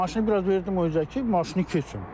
Maşını biraz verdim o üzə ki, maşını keçsin.